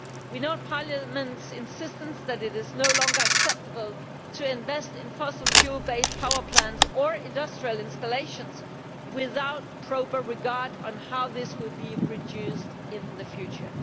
We note Parliament's insistence that it is no longer acceptable to invest in fossil fuel based power plants or industrial installations without proper regard for how this will be reduced in the future.